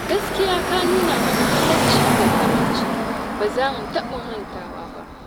Gaskiya ka nuna mana halacci da karamci, ba za mu taɓa mantawa ba.